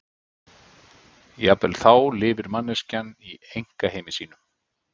Jafnvel þá lifir manneskjan í einkaheimi sínum.